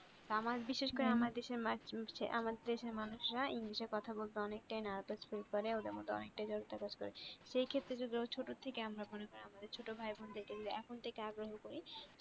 আমার বিশেষ করে আমার আমার দেশের মানুষরা english এ কথা বলতে অনেক টাই nurvus feel করে ওদের মধ্যে অনেকটাই জড়তা কাজ করে সেক্ষেত্রে যদি ওরা ছোট থেকে আমাদের ছোট ভাই বোনদের কে যদি এখন থেকে আগ্রহ করি